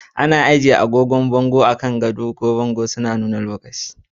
Ana iya ajiye agogo a bango ko a gefen gado, suna nuna lokaci.